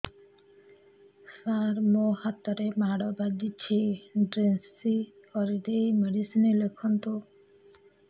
ସାର ମୋ ହାତରେ ମାଡ଼ ବାଜିଛି ଡ୍ରେସିଂ କରିଦେଇ ମେଡିସିନ ଲେଖନ୍ତୁ